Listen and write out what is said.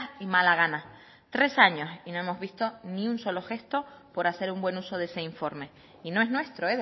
y mala gana tres años y no hemos visto ni un solo gesto por hacer un buen uso de ese informe y no es nuestro